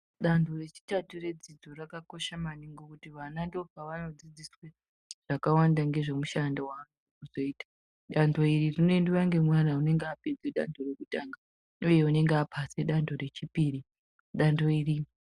Dani rechitatu redzidzi rakakosha maningi ngekuti ndopavanodaidziswa zvakawanda nezvemishandi yawo veizoita dandoniri rinoendwa nemwana anenge eida anenge apasa dando rechipiri.